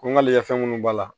Ko n ka lɛ fɛn minnu b'a la